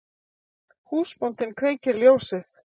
Húsbóndinn kveikir ljósið.